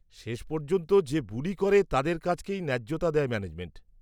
-শেষ পর্যন্ত, যে বুলি করে তাদের কাজকেই ন্যায্যতা দেয় ম্যানেজমেন্ট।